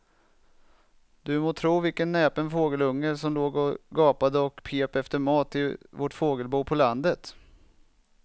Du må tro vilken näpen fågelunge som låg och gapade och pep efter mat i vårt fågelbo på landet.